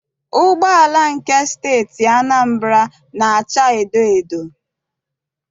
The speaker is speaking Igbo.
Ụgbọala nke Steeti Anambra na- acha edoedo.